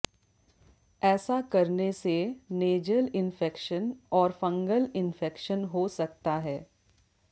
ऐसा करने से नेजल इंफेक्शन और फंगल इंफेक्शन हो सकता है